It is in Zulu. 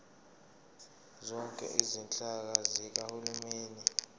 zonke izinhlaka zikahulumeni